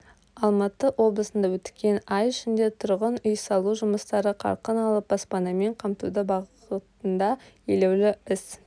алматы облысында өткен ай ішінде тұрғын үй салу жұмыстары қарқын алып баспанамен қамтуды бағытында елеулі іс